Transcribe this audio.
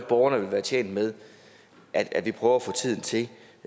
borgerne vil være tjent med at vi prøver at få tiden til